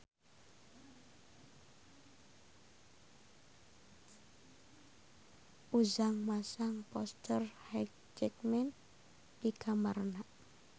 Ujang masang poster Hugh Jackman di kamarna